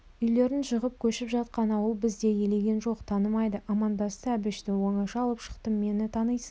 үйлерін жығып көшіп жатқан ауыл бізді елеген жоқ танымайды амандасты әбішті оңаша алып шықтым мені танисың